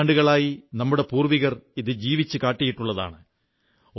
നൂറ്റാണ്ടുകളായി നമ്മുടെ പൂർവ്വികർ ഇത് ജീവിച്ചു കാട്ടിയിട്ടുള്ളതാണ്